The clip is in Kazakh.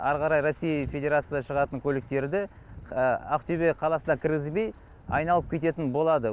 әрі қарай россия федерациясы шығатын көліктерді ақтөбе қаласына кіргізбей айналып кететін болады